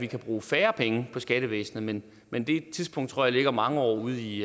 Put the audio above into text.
kan bruge færre penge på skattevæsenet men men det tidspunkt tror jeg ligger mange år ud i